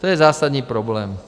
To je zásadní problém.